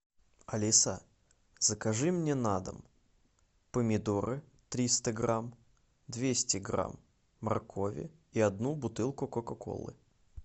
алиса закажи мне на дом помидоры триста грамм двести грамм моркови и одну бутылку кока колы